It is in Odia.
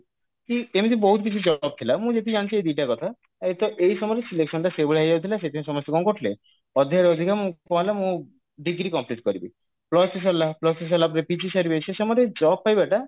କି ଏମିତି ବହୁତ କିଛି job ଥିଲା ମୁଁ ଯେତିକି ଜାଣିଛି ଏଇ ଦିଟା କଥା ଏକ ତ ଏଇ ସେଇ ସମୟରେ selection ଟା ସେଇ ଭଳିଆ ହେଇଯାଉଥିଲା ସେଇଥିପାଇଁ ସମସ୍ତେ କଣ କରୁଥିଲେ ଅଧିକାରୁ ଅଧିକା କଣ ହେଲା ମୁଁ degree complete କରିବି plus three ସରିଲା plus three ସରିଲା ପରେ PG ସାରିବେ ସେ ସମୟରେ job ପାଇବା ଟା